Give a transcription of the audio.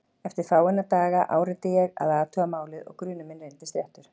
Eftir fáeina daga áræddi ég að athuga málið og grunur minn reyndist réttur.